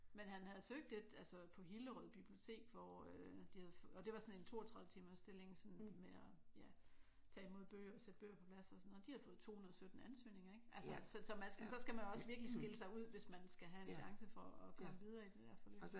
Men han havde søgt et altså på Hillerød Bibliotek hvor de og det var sådan en 32-timers stilling sådan med at ja tage imod bøger og sætte bøger på plads og sådan noget. De havde fået 217 ansøgninger ik? Så skal man virkelig skille sig ud hvis man skal have en chance for at komme videre i det der forløb